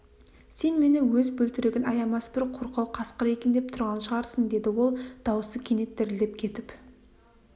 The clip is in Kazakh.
сен мені өз бөлтірігін аямас бір қорқау қасқыр екен деп тұрған шығарсың деді ол даусы кенет дірілдеп кетіп